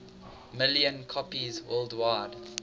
million copies worldwide